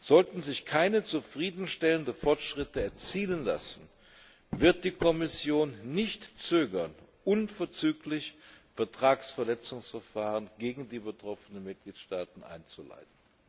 Sollten sich keine zufriedenstellenden Fortschritte erzielen lassen, wird die Kommission nicht zögern, unverzüglich Vertragsverletzungsverfahren gegen die betroffenen Mitgliedstaaten einzuleiten.